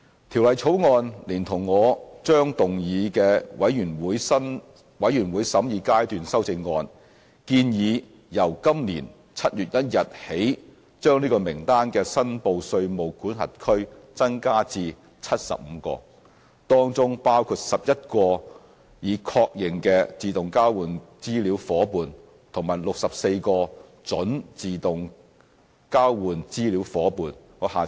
《條例草案》連同我將動議的全體委員會審議階段修正案，建議由今年7月1日起把這名單的"申報稅務管轄區"增加至75個，當中包括11個已確認的自動交換資料夥伴及64個準自動交換資料夥伴。